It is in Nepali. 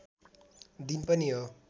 दिन पनि हो